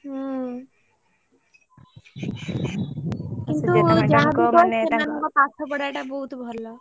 ହୁଁ କିନ୍ତୁ ଯାହା ବି କୁହ ସେମାଙ୍କ ପାଠ ପଢା ଟା ବହୁତ ଭଲ।